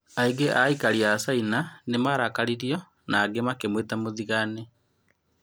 Aingĩ a aikari a Caina nĩ marakaririo , na angĩ makĩmwĩta mũthigani.